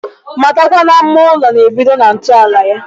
Matakwa na mma ụlọ na-ebido na ntọala ya.